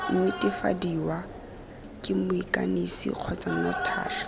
netefadiwa ke moikanisi kgotsa notary